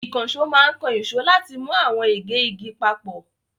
Ìkànṣó máa ń kan ìṣó láti mú àwọn ègé igi papọ̀.